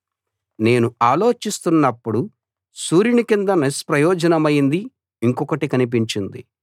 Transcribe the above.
నేను ఆలోచిస్తున్నపుడు సూర్యుని కింద నిష్ప్రయోజనమైంది ఇంకొకటి కనిపించింది